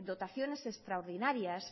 dotaciones extraordinarias